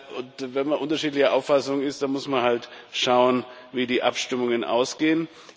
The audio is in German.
Und wenn man unterschiedlicher Auffassung ist, dann muss man halt schauen, wie die Abstimmungen ausgehen.